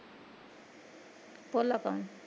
ਭੋਲਾ ਕੋਣ?